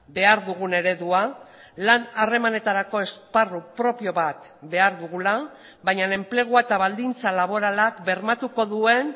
behar dugun eredua lan harremanetarako esparru propio bat behar dugula baina enplegua eta baldintza laboralak bermatuko duen